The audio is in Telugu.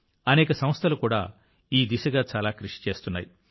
అనేక సంస్థలు కూడా ఈ దిశగా చాలా కృషి చేస్తున్నాయి